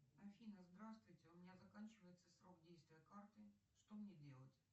афина здравствуйте у меня заканчивается срок действия карты что мне делать